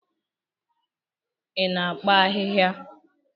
Ị na-akpa ahịhịa?